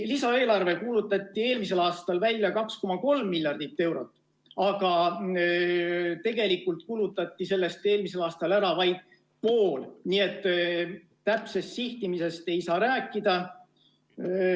Lisaeelarve mahuks kuulutati eelmisel aastal välja 2,3 miljardit eurot, aga tegelikult kulutati sellest eelmisel aastal ära vaid pool, nii et täpsest sihtimisest ei saa rääkida.